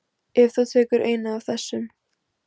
Ef þú tekur eina af þessum